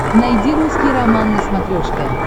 найди русский роман на смотрешке